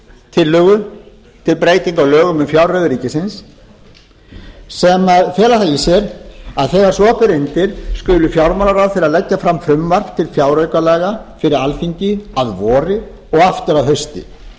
tillögu um breytingu á lögum um fjárreiður ríkisins sem fela það í sér að þegar svo ber undir skuli fjármálaráðherra leggja fram frumvarp til fjáraukalaga fyrir alþingi að vori og aftur að hausti